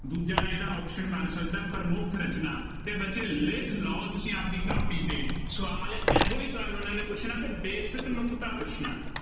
ਦੂਜਾ ਇਹਦਾ option ਬਣ ਸਕਦਾ, ਪ੍ਰਮੁੱਖ ਰਚਨਾ ਅਤੇ ਬੱਚੇ ਲਿਖ ਲਉ ਤੁਸੀਂ ਆਪਦੀ ਕਾਪੀ ਤੇ, ਸਵਾਲ ਇਹੋ ਤੁਹਾਨੂੰ ਉਹਨਾ ਨੇ ਪੁੱਛਣਾ ਅਤੇ basic ਨੁਕਤਾ ਪੁੱਛਣਾ।